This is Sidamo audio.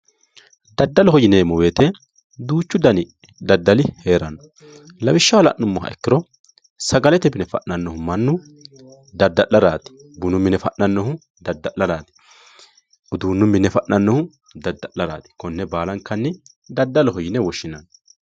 Daddaloho yineemmo woyite duuchu dani daddali heeranno. Lawishshaho la'nummoha ikkiro sagalete mine fa'nannohu mannu dadda'laraati. Bunu mine fa'nannohu dadda'laraati. Uduunnu mine fa'nannohu dadda'laraati. Konne baalankanni daddaloho yine woshshinanni.